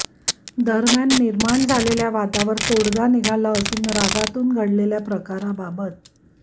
दरम्यान निर्माण झालेल्या वादावर तोडगा निघाला असून रागातून घडलेल्या प्रकाराबाबत